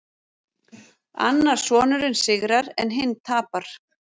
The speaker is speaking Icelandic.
Annar sonurinn sigrar en hinn tapar